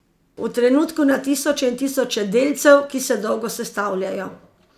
V trenutku, na tisoče in tisoče delcev, ki se dolgo sestavljajo.